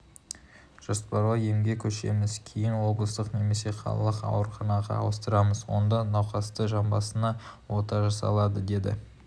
жоспарлы емге көшеміз кейін облыстық немесе қалалық ауруханаға ауыстырамыз онда науқастың жамбасына ота жасалады деді